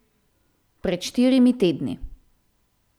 Pred štirimi tedni.